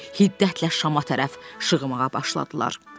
Hiddətlə şama tərəf şığımağa başladılar.